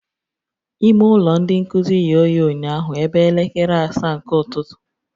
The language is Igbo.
Ime ụlọ ndị nkuzi ghe oghe ụnyaahụ ebe elekere asaa nke ụtụtụ